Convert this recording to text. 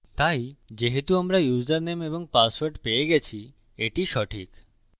তাই যেহেতু আমরা ইউসারনেম এবং পাসওয়ার্ড পেয়ে গেছি এটি সঠিক